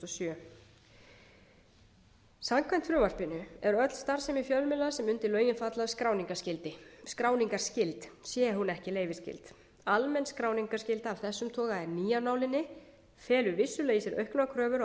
sjö samkvæmt frumvarpinu er öll starfsemi fjölmiðla sem undir lögin falla skráningarskyld sé hún ekki leyfisskyld almenn skráningarskylda af þessum toga er ný af nálinni felur vissulega í sér auknar kröfur á